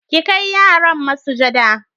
ki Kai yaran masujada